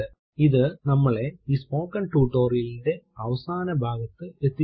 ഇത് നമ്മളെ ഈ സ്പോകെൻ ടുടോരിയലിന്റെ അവസാന ഭാഗത്തെത്തിച്ചിരുക്കുകയാണ്